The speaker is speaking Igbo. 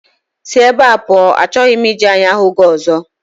Si na ebá pụọ, achọghị m iji anya hụ gị ọzọ